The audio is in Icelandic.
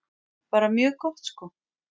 Bara mjög gott sko.